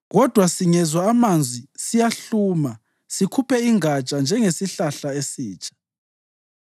kodwa singezwa amanzi siyahluma sikhuphe ingatsha njengesihlahla esitsha.